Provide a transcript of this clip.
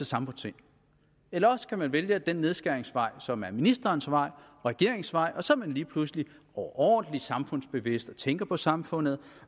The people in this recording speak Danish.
samfundssind eller også kan man vælge den nedskæringsvej som er ministerens og regeringens vej og så er man lige pludselig overordentlig samfundsbevidst tænker på samfundet